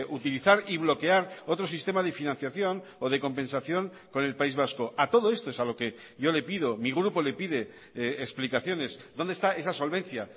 utilizar y bloquear otro sistema de financiación o de compensación con el país vasco a todo esto es a lo que yo le pido mi grupo le pide explicaciones dónde está esa solvencia